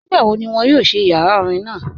Nígbàwó̀ ní wọn yóò ṣí ìyàrá orín naa?